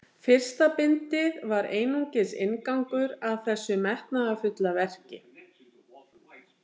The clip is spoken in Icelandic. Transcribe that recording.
Fyrsta bindið var einungis inngangur að þessu metnaðarfulla verki.